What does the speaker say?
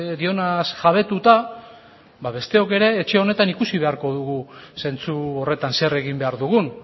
dionaz jabetuta besteok ere etxe honetan ikusi beharko dugu zentzu horretan zer egin behar dugun